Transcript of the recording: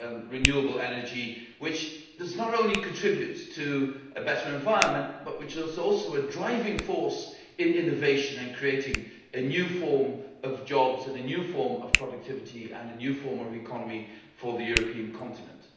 renewable energy, which does not only contribute to a better environment but which is also a driving force in innovation and creating a new form of jobs and a new form of productivity and a new form of economy for the European continent.